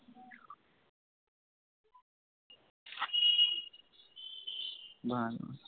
ভালো